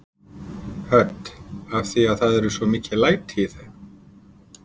Hödd: Af því það eru svo mikil læti í þeim?